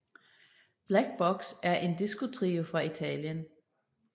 Black Box er en disco trio fra Italien